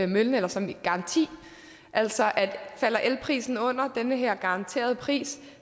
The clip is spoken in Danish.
møllen eller som en garanti altså at falder elprisen under den her garanterede pris